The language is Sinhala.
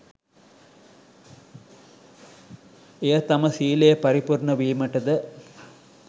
එය තම ශීලය පරිපූර්ණ වීමටද